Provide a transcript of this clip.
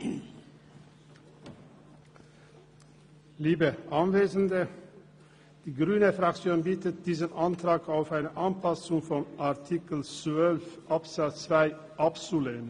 Die grüne Fraktion bittet diesen Antrag auf Anpassung von Artikel 12 Absatz 2 abzulehnen.